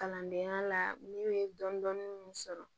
Kalandenya la ne ye dɔnni min sɔrɔ